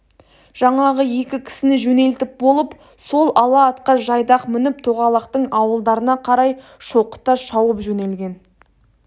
жаңағы екі кісіні жөнелтіп болып сол ала атқа жайдақ мініп тоғалақтың ауылдарына қарай шоқыта шауып жөнелген